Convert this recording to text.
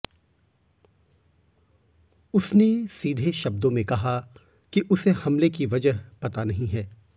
उसने सीधे शब्दों में कहा कि उसे हमले की वजह पता नहीं है